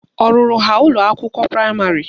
Ọ rụrụ ha ụlọakwụkwọ praịmarị?